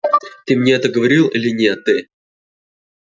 ты мне это говорил или не ты